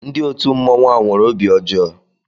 Ndị òtù mmọnwu a nwere obi ọjọọ.